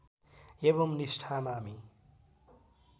एवं निष्ठामा हामी